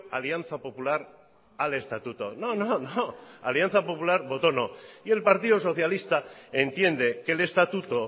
alianza popular al estatuto no no no alianza popular votó no y el partido socialista entiende que el estatuto